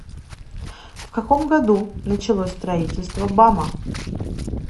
в каком году началось строительство бама